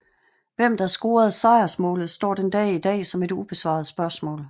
Hvem der scorede sejrsmålet står den dag i dag som et ubesvaret spørgsmål